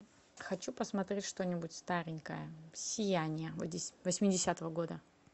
хочу посмотреть что нибудь старенькое сияние восьмидесятого года